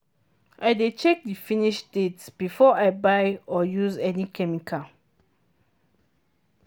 i dey check the finish date before i buy or use any chemical.